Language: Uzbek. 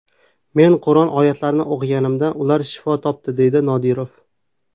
Men Qur’on oyatlarini o‘qiganimda ular shifo topadi”, deydi Nodirov.